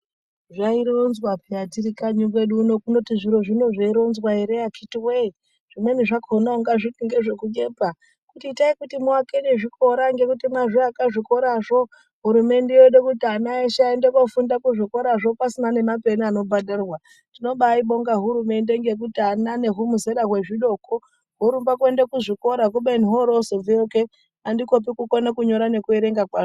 Zvaitonzwa paya tiri kanyi kwedu uno zviro zviya zveironzwa ere akiti woye zvimweni zvakona ungati ngezvekunyepa itai kuti muakire nezvikora ngekuti mazviaka zvikorazvo hurumende Yoda kuti vana veshevandofunda kuzvikoraxvo pasina nepeni rinondobhadharwa yimobainonga hurumendeyo ngendaya yekuti vana nezvimuzera wezvidoko zvinorumba kuenda kuzviko ra kubeni horozobvewo kee andikopi kukona kunyora nekuverenga kwaho.